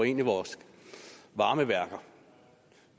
ind i vores varmeværker